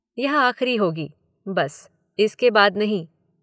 यह आखिरी होगी, बस, इसके बाद नहीं